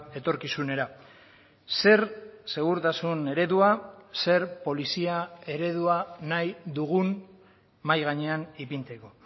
etorkizunera zer segurtasun eredua zer polizia eredua nahi dugun mahai gainean ipintzeko